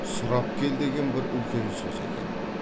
сұрап кел деген бір үлкен сөзі екен